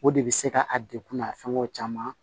O de bɛ se ka a degun n'a fɛngɛw caman